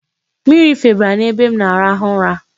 Mmiri febara n'ebe m na-arahụ ụra.